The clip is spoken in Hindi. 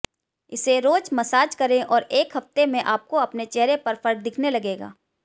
इसे रोज मसाज करें और एक हफ्ते में आपको अपने चेहरे पर फर्क दिखने लगेगा